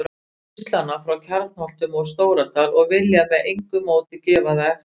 Gíslana frá Kjarnholtum og Stóradal og vilja með engu móti gefa það eftir.